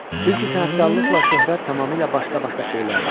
Çünki sənətkarlıqla şöhrət tamamilə başqa-başqa şeylərdir.